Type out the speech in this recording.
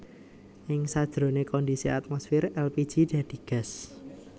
Ing sajroné kondisi atmosfer èlpiji dadi gas